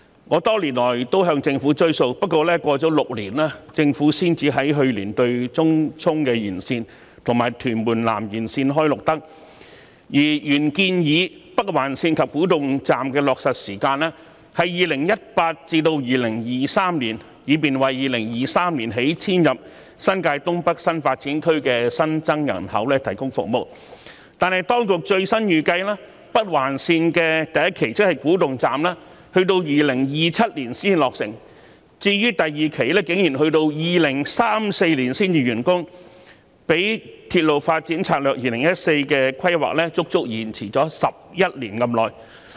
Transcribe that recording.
我多年來也向政府"追數"，而過了6年，政府才在去年對東涌綫延綫和屯門南延綫"開綠燈"，而原來建議北環綫及古洞站的落實時間是2018年至2023年，以便為2023年起遷入新界東北新發展區的新增人口提供服務，但當局最新預計北環綫第一期，亦即古洞站要到2027年才落成，第二期竟然要到2034年才能完工，較《鐵路發展策略2014》的規劃足足延遲11年之久。